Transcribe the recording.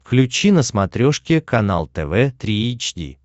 включи на смотрешке канал тв три эйч ди